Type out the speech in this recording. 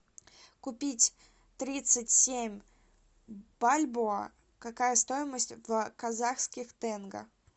купить тридцать семь бальбоа какая стоимость в казахских тенге